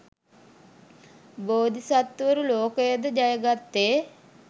බෝධිසත්වවරු ලෝකය ජයගත්තේ